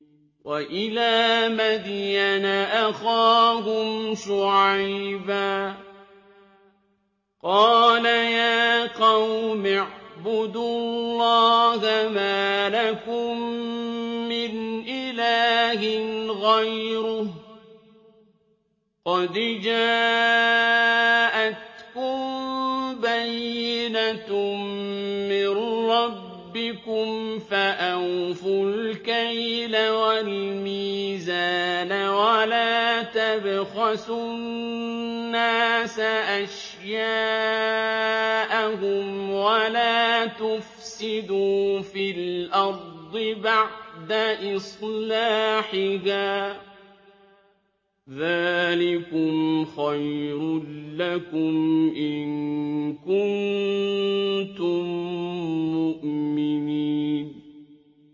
وَإِلَىٰ مَدْيَنَ أَخَاهُمْ شُعَيْبًا ۗ قَالَ يَا قَوْمِ اعْبُدُوا اللَّهَ مَا لَكُم مِّنْ إِلَٰهٍ غَيْرُهُ ۖ قَدْ جَاءَتْكُم بَيِّنَةٌ مِّن رَّبِّكُمْ ۖ فَأَوْفُوا الْكَيْلَ وَالْمِيزَانَ وَلَا تَبْخَسُوا النَّاسَ أَشْيَاءَهُمْ وَلَا تُفْسِدُوا فِي الْأَرْضِ بَعْدَ إِصْلَاحِهَا ۚ ذَٰلِكُمْ خَيْرٌ لَّكُمْ إِن كُنتُم مُّؤْمِنِينَ